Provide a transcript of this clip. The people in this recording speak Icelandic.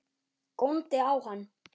Góndi á hann.